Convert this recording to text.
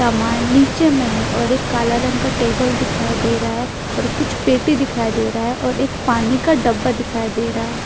सामान नीचे में है और एक काला रंग का टेबल दिखाई दे रहा है और कुछ पेटी दिखाई दे रहा है और एक पानी का डब्बा दिखाई दे रहा --